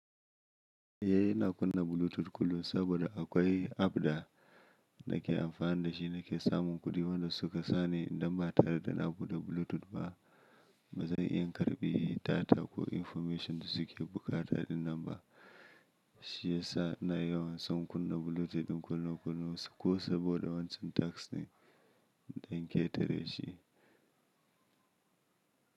Eh ina kunna Bluetooth kullum saboda akwai app da nake amfani da shi nake samun kuɗi, wanda suka sa ni idan ba tare da na buɗe Bluetooth ba ba zan iya karbi data ko information da suke buƙata ɗin nan ba. Shi yasa na yawan son kunna Bluetooth ɗin kullum kullum ko saboda wancan task din dan in ke tare shi.